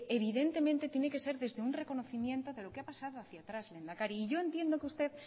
evidentemente tiene que ser desde un reconocimiento de lo que ha pasado aquí atrás lehendakari y yo entiendo que usted